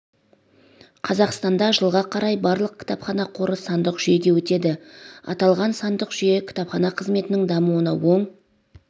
қазақстанда жылға қарай барлық кітапхана қоры сандық жүйеге өтеді аталған сандық жүйе кітапхана қызметінің дамуына оң